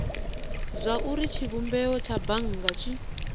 zwauri tshivhumbeo tsha bannga tshi